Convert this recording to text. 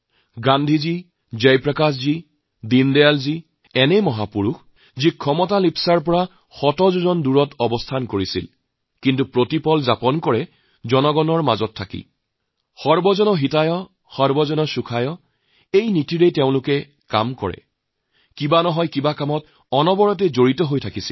গান্ধীজী জয়প্ৰকাশজী দীনদয়ালজী এনে মহাপুৰুষ আছিল যিসকলে ক্ষমতাৰ অলিন্দৰ পৰা বহুত দূৰত থাকে কিন্তু প্ৰতিটো মুহূৰ্ত সাধাৰণ মানুহৰ সৈতে জীৱন যাপন কৰিছিল সংগ্ৰাম কৰিছিল সৰ্বজনৰ হিতাৰ্থে সৰ্বজনৰ সুখাৰ্থে কিবা নহয় কিবা এটা কৰিছিল